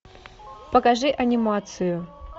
покажи анимацию